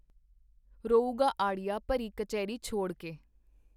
ਰੋਊਗਾ ਅੜਿਆ ਭਰੀ ਕਚਹਿਰੀ ਛੋੜ ਕੇ।